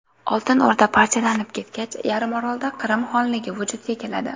Oltin O‘rda parchalanib ketgach, yarimorolda Qrim xonligi vujudga keladi.